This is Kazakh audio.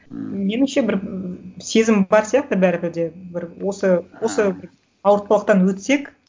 меніңше бір сезім бар сияқты бәрібір де бір осы ауыртпалықтан өтсек